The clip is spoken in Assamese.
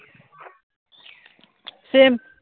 same